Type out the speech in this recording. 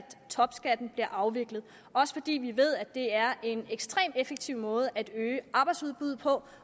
topskatten blev afviklet også fordi vi ved at det er en ekstremt effektiv måde at øge arbejdsudbuddet på